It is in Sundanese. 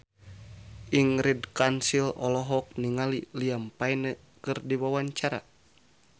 Ingrid Kansil olohok ningali Liam Payne keur diwawancara